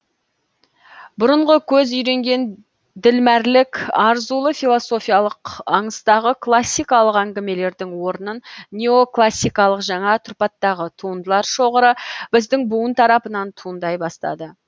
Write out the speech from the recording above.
бұрынғы көз үйренген ділмәрлік арзулы философиялық аңыстағы классикалық әңгімелердің орнын неоклассикалық жаңа тұрпаттағы туындылар шоғыры біздің буын тарапынан туындай бастады